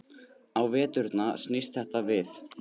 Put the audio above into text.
Á veturna snýst þetta við.